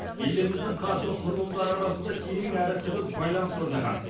елдеріміздің қаржылық құрылымдары арасында терең әрі тығыз байланыс орнаған